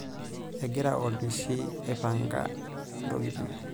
Egira olpishi aipanga ntokitin.